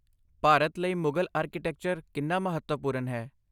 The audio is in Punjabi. ਭਾਰਤ ਲਈ ਮੁਗਲ ਆਰਕੀਟੈਕਚਰ ਕਿੰਨਾ ਮਹੱਤਵਪੂਰਨ ਹੈ?